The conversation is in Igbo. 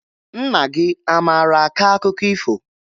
Nna gị a maara akọ akụkọ ifo?